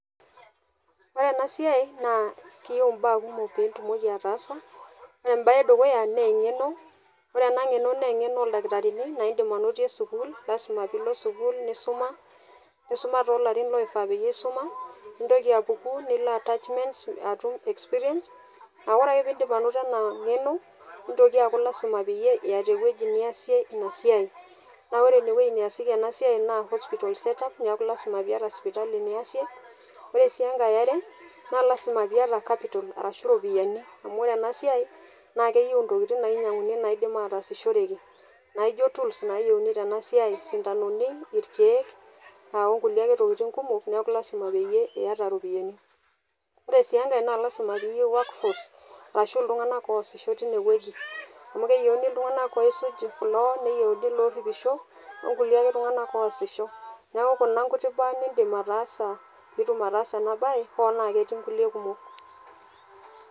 Ore ena siai naa keyieu mbaa kumok pitumoki ataasa . Ore embae edukuya naa engeno, ore ena ngeno naa engeno oldakitarini , naa indim anotie sukuul, lasima pilo sukuul nisuma, nisuma tolarin loifaa peyie isuma, nintoki apuku attachment atum experience. Aa ore ake pindip anoto ena ngeno , nitoki aaku lasima peyie iyata ewueji niasie ina siai . Naa ore ine wuei neasieki ina siai naa hospital set up lasima piata sipitali niasie. Ore sii enkae eare naa lasima piata capital arashu iropiyiani . Amu ore ena siai naa keyieu intokitin nainyianguni naidim ataasishoreki naijo tools nayieuni tena siai, isintanoni , aa orkulie ake tokitin kumok , niaku lasima peyie iyata iropiyiani. Ore sii enkae naa lasima peyieu work force arashu iltunganak oisisho tine wueji. Amu keyieuni iltunganak oisuj floor , neyieuni loripisho , orkulie ake tunganak ake oasishe. Niaku kuna ake imbaa nindim ataasa pitum ataasa ena bae , hoo naa ketii nkulie kumok.